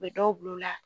U bɛ dɔw bila o la